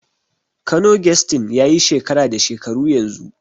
Kano Guest Inn yayi shekara da shekaru yanzu.